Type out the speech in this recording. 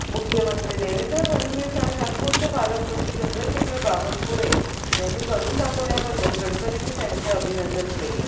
मुख्यमंत्री देवेंद्र फडणवीस आणि नागपूरचे पालकमंत्री चंद्रशेखर बाबनकुळे यांनी करून दाखवल्याबद्दल गडकरींनी त्यांचे अभिनंदन केले